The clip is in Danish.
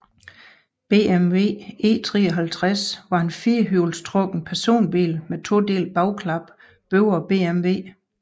BMW E53 var en firehjulstrukket personbil med todelt bagklap bygget af BMW